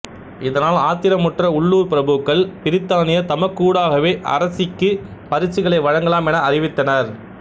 இதனால் ஆத்திரமுற்ற உள்ளூர்ப் பிரபுக்கள் பிரித்தானியர் தமக்கூடாகவே அரசிக்குப் பரிசுகளை வழங்கலாம் என அறிவித்தனர்